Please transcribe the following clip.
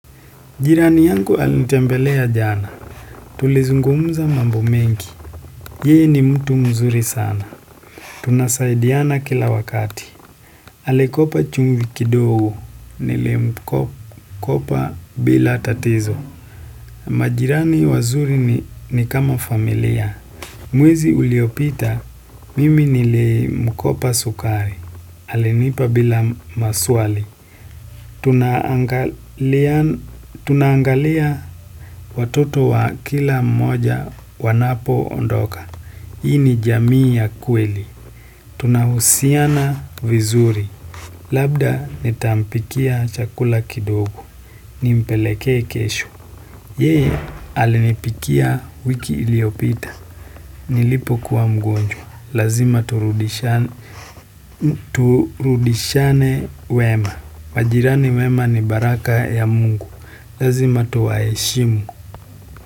Jirani yangu alinitembelea jana. Tulizungumuza mambo mengi. Yeye ni mtu mzuri sana. Tunasaidiana kila wakati. Alikopa chumvi kidogo. Nilimkopa bila tatizo. Majirani wazuri ni kama familia. Mwezi uliopita. Mimi nilimkopa sukari. Alinipa bila maswali. Tunangalia watoto wa kila mmoja wanapo ondoka. Hii ni jamii ya kweli. Tunahusiana vizuri. Labda nitampikia chakula kidogo. Nimpeleke kesho. Yeye alinipikia wiki iliopita. Nilipokuwa mgonjwa. Lazima turudishane wema. Majirani wema ni baraka ya mungu. Lazima tuwaheshimu.